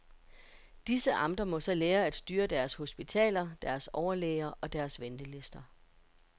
Disse amter må så lære at styre deres hospitaler, deres overlæger, og deres ventelister.